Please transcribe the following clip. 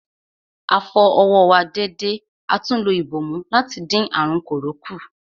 A fọ ọwọ́ wa dédé atún lo ìbòmú láti dín àrùn kòró kù.